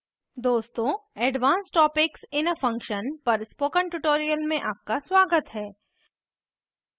दोस्तों advance topics in a function पर spoken tutorial में आपका स्वागत है